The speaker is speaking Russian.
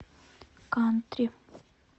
кантри